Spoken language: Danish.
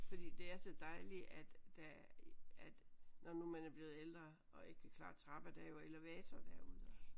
Fordi det er så dejligt at der at når nu man er blevet ældre og ikke kan klare trapper der er jo elevator derude